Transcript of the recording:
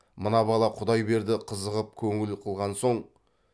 мына бала құдайберді қызығып көңіл қылған соң